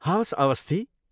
हवस्, अस्वथी।